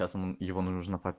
его нужно